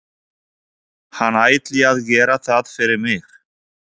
Hann ætli að gera það fyrir mig.